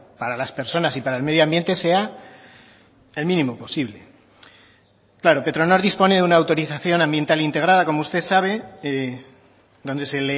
para las personas y para el medio ambiente sea el mínimo posible claro petronor dispone de una autorización ambiental integrada como usted sabe donde se